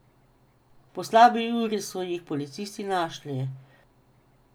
Po slabi uri so jih policisti našli.